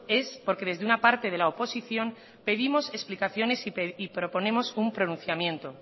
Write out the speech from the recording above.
es porque desde una parte de la oposición pedimos explicaciones y proponemos un pronunciamiento